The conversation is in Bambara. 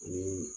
Ani